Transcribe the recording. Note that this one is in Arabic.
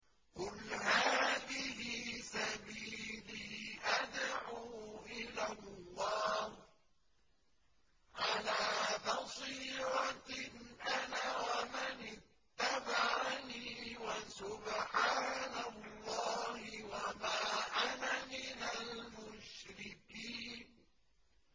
قُلْ هَٰذِهِ سَبِيلِي أَدْعُو إِلَى اللَّهِ ۚ عَلَىٰ بَصِيرَةٍ أَنَا وَمَنِ اتَّبَعَنِي ۖ وَسُبْحَانَ اللَّهِ وَمَا أَنَا مِنَ الْمُشْرِكِينَ